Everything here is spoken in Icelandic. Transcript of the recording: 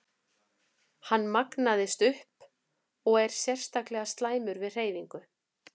Hann magnast upp og er sérstaklega slæmur við hreyfingu.